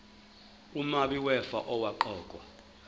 umabi wefa owaqokwa